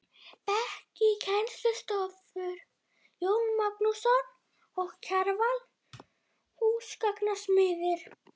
Bekki í kennslustofur: Jón Magnússon og Kjarval, húsgagnasmiðir.